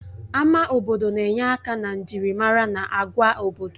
Ama obodo na-enye aka na njirimara na agwa obodo.